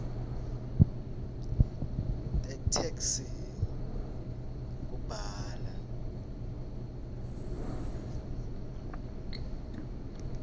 tetheksthi kubhala